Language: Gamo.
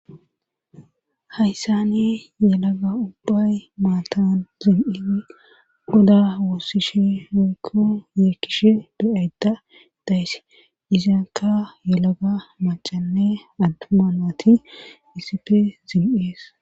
Hayssane yelaga ubbay maatan zil'i goda woossishe roykko yeekkishe do'ayda daysse izaaka yelaga macanne attumanati iisipe zil'ies.